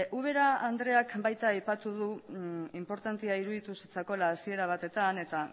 ubera andreak baita aipatu du inportantea iruditu zitzaiola hasiera batean eta